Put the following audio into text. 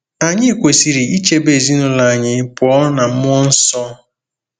Anyị kwesịrị ichebe ezinụlọ anyị pụọ ná mmụọ nsọ.